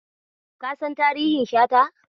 Ka san tarihin Shata?